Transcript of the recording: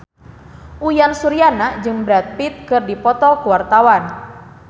Uyan Suryana jeung Brad Pitt keur dipoto ku wartawan